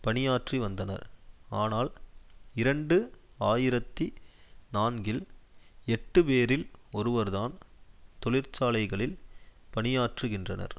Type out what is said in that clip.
பணியாற்றிவந்தனர் ஆனால் இரண்டு ஆயிரத்தி நான்கில் எட்டுப்பேரில் ஒருவர்தான் தொழிற்சாலைகளில் பணியாற்றுகின்றனர்